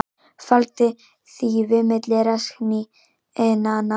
Faldi þýfi milli rasskinnanna